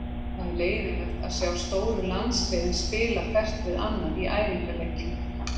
Það er leiðinlegt að sjá stóru landsliðin spila hvert við annað í æfingaleikjum.